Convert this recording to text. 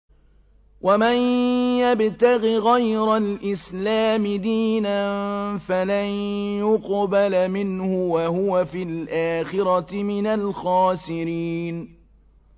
وَمَن يَبْتَغِ غَيْرَ الْإِسْلَامِ دِينًا فَلَن يُقْبَلَ مِنْهُ وَهُوَ فِي الْآخِرَةِ مِنَ الْخَاسِرِينَ